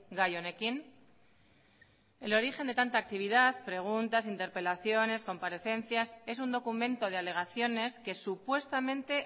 gai honekin el origen de tanta actividad preguntas interpelaciones comparecencias es un documento de alegaciones que supuestamente